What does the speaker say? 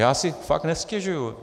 Já si fakt nestěžuji.